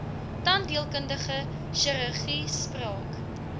tandheelkundige chirurgie spraak